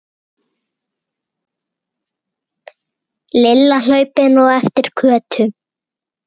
Lilla hlaupin á eftir Kötu.